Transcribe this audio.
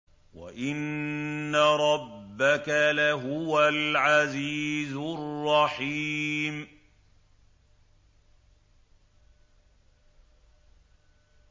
وَإِنَّ رَبَّكَ لَهُوَ الْعَزِيزُ الرَّحِيمُ